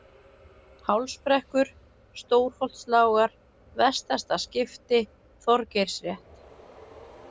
Hálsbrekkur, Stórholtslágar, Vestasta-Skipti, Þorgeirsrétt